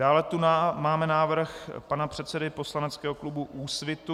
Dále tu máme návrh pana předsedy poslaneckého klubu Úsvit.